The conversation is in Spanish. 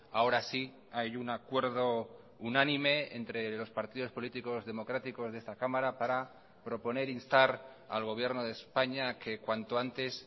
ahora sí hay un acuerdo unánime entre los partidos políticos democráticos de esta cámara para proponer instar al gobierno de españa que cuanto antes